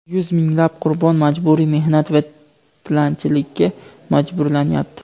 yuz minglab qurbon majburiy mehnat va tilanchilikka majburlanyapti.